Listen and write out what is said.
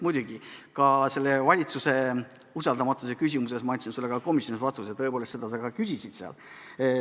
Aga valitsuse usaldamatuse küsimusele ma andsin sulle juba komisjonis vastuse, sa küsisid seda ka seal.